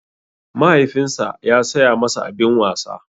Mahaifinsa ya saya masa abin wasa.